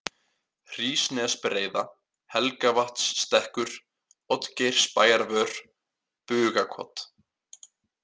Hrísnesbreiða, Helgavatnsstekkur, Oddgeirsbæjarvör, Bugakot